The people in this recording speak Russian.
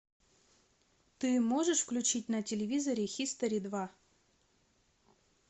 ты можешь включить на телевизоре хистори два